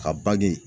Ka baji